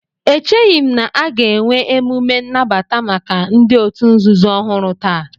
Echeghị m na a ga-enwe emume nnabata maka ndị òtù nzuzo ọhụrụ taa